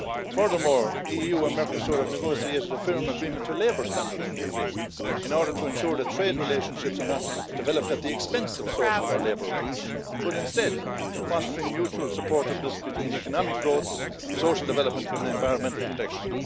Furthermore, the EU and Mercosur have negotiated a firm agreement to labour standards in the agreement, in order to ensure that trade relationships are not developed at the expense of social or labour rights, but instead, fostering mutual support of this between economic growth, social development and environmental protection.